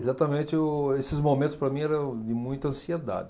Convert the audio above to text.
Exatamente, o esses momentos para mim eram de muita ansiedade.